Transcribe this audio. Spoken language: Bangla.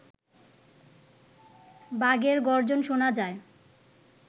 বাঘের গর্জন শোনা যায়